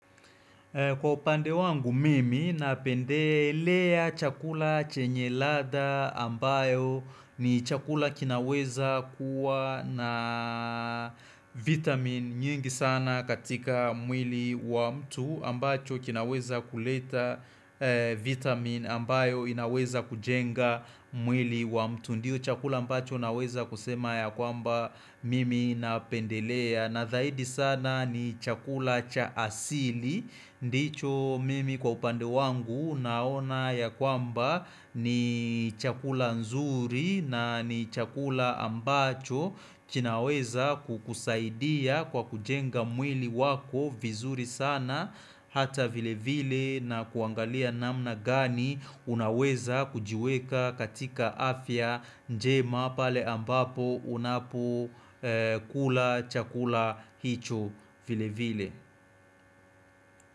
Kwa upande wangu mimi napendelea chakula chenye ladha ambayo ni chakula kinaweza kuwa naaaaaa vitamini nyingi sana katika mwili wa mtu ambacho kinaweza kuleta eeh vitamini ambayo inaweza kujenga mwili wa mtu. Ndiyo chakula ambacho naweza kusema ya kwamba mimi napendelea Nazaidi sana ni chakula cha asili ndicho mimi kwa upande wangu naona ya kwamba niii chakula nzuri na ni chakula ambacho kinaweza kukusaidia kwa kujenga mwili wako vizuri sana. Hata vile vile na kuangalia namna gani unaweza kujiweka katika afya njema pale ambapo unapo ee kula chakula hicho vile vile.